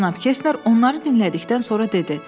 Cənab Kestner onları dinlədikdən sonra dedi: